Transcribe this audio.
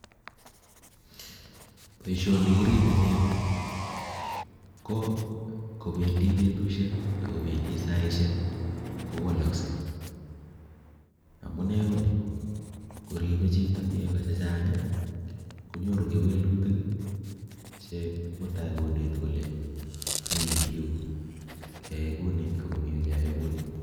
Boisoni kiiribe nego ko bendii betushek ak kobendi saaishek kowalasei amuu nee konii koribe chito nego chechang konyoru kewelutik che mutai koneti kolee Mii yu keyai kouni ak komii keyang kounii